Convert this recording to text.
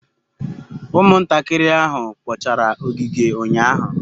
Umuntakiri ahu kpochara ogige unyahu